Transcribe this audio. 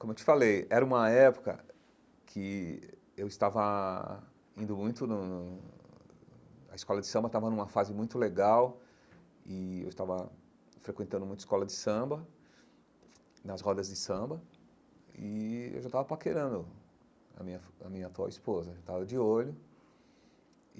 Como eu te falei, era uma época que eu estava indo muito no no... A escola de samba estava numa fase muito legal e eu estava frequentando muito escola de samba, nas rodas de samba, e eu já estava paquerando a minha fu a minha atual esposa, já estava de olho.